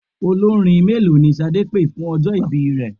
Olórin mélòó ni Ṣadé pé fún ọjọ́ ìbí rẹ?